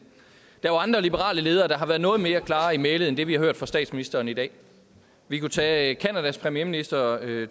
der er jo andre liberale ledere der har været noget mere klare i mælet end det vi har hørt fra statsministeren i dag vi kunne tage canadas premierminister